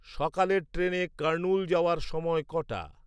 সকালের ট্রেনে কার্নুল যাওয়ার সময় কটা